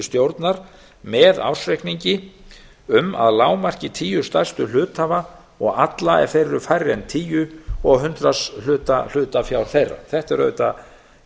stjórnar með ársreikningi um að lágmarki tíu stærstu hluthafa og alla ef þeir eru færri en tíu og hundraðshluta hlutafjár þeirra þetta er auðvitað